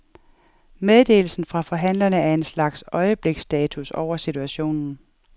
Meddelelsen fra forhandlerne er en slags øjebliksstatus over situationen.